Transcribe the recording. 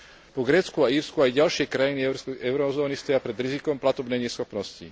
Po Grécku a Írsku aj ďalšie krajiny eurozóny stoja pred rizikom platobnej neschopnosti.